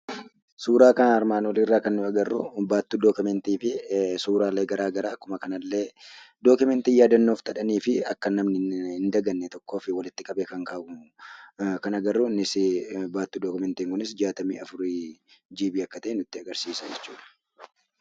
Suuraa armaan olii irraa kan nuti agarru baattuu 'dookimantii' fi suuraalee garaa garaa akkuma kana illee, 'dookimantii' yaadannoo qabanii fi akka namni hin daganneef walitti qabee kan kaa'u kan agarru. Innis, baattuun 'dookimantii' kun 64GB akka ta'e nutti agarsiisa jechuudha.